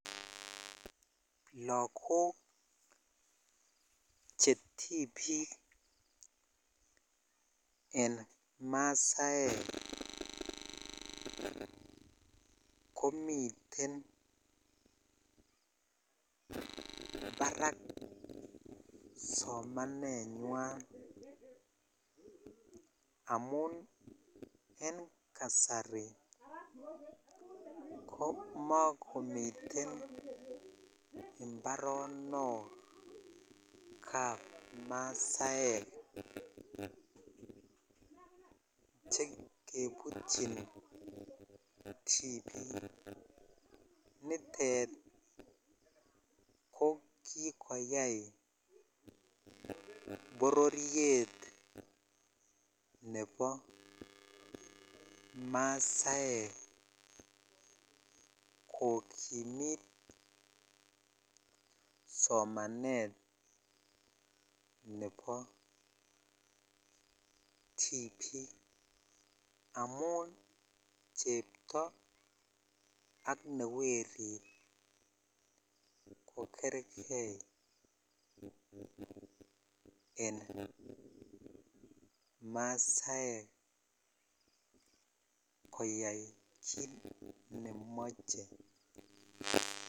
Logok chetibik en masaek komiten barak somanenywan amun en kasari komogomiten imbaronok kap masaek chekebutyin tibik nitet ko kikoyai bororiet nebo masaek kokimit somanet nebo tibik amun chepto ak newerit ko kergei en masaek koyai kit nemoche